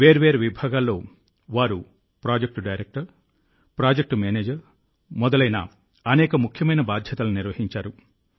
వేర్వేరు విభాగాల్లో వారు ప్రాజెక్ట్ డైరెక్టర్ ప్రాజెక్ట్ మేనేజర్ మొదలైన అనేక ముఖ్యమైన బాధ్యతలను నిర్వహించారు